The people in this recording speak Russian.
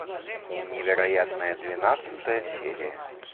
невероятное двенадцатая серия